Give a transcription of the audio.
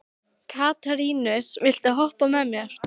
Katarínus, viltu hoppa með mér?